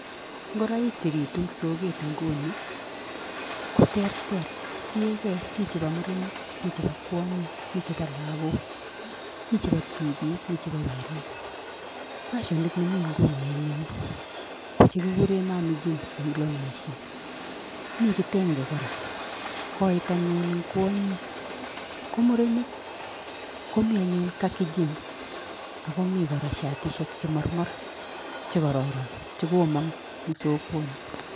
Ngoraik chebitu eng soket nguni ko terter, tigei , mi chebo murenik, mi chebo kwonyik, mi chebo lagok, mi che tibik, mi chebo werik. Fashonit nemi nguni nyun ko chekikure mami jeans eng longishek. Mi kitenge kora, kout anyun eng kwonyik. Ko murenik koni anyun khaki jeans akomi kora shatishek che mormor chekararan che komong eng sokoni.